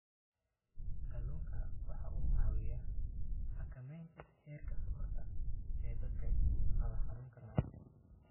Kalluunku waxa uu caawiyaa xakamaynta heerka sonkorta ee dadka qaba xanuunka macaanka.